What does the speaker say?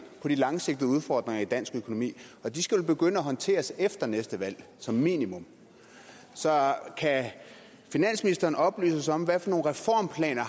på de langsigtede udfordringer i dansk økonomi og de skal vel begynde at håndteres efter næste valg som minimum så kan finansministeren oplyse os om hvilke reformplaner